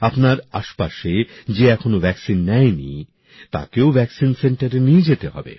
আপনার আশপাশে যে এখনো টিকা নেয়নি তাকেও টিকাকেন্দ্রে নিয়ে যেতে হবে